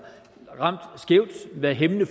været hæmmende